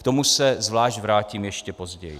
K tomu se zvlášť vrátím ještě později.